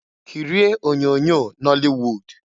Kirie onyoonyo nọlị wud!